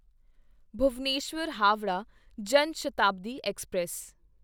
Bhubaneswar Howrah Jan Shatabdi express